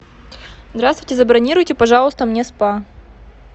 здравствуйте забронируйте пожалуйста мне спа